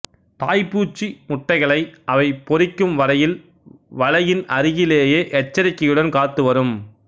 தாய்ப்பூச்சி முட்டைகளை அவை பொரிக்கும் வரையில் வளையின் அருகிலேயே எச்சரிக்கையுடன் காத்து வரும்